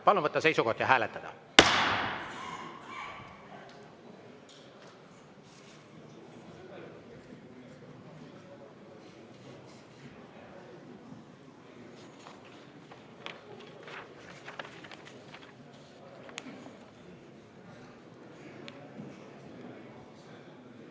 Palun võtta seisukoht ja hääletada!